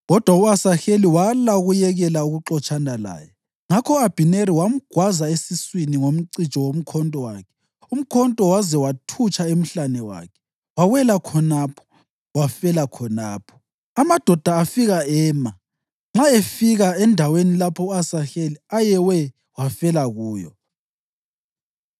Kodwa u-Asaheli wala ukuyekela ukuxotshana laye; ngakho u-Abhineri wamgwaza esiswini ngomcijo womkhonto wakhe, umkhonto waze wayathutsha emhlane wakhe. Wawela khonapho, wafela khonapho. Amadoda afika ema nxa efika endaweni lapho u-Asaheli ayewe wafela kuyo.